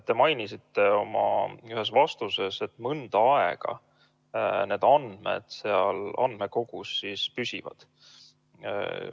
Te mainisite oma ühes vastuses, et mõnda aega need andmed seal andmekogus püsivad.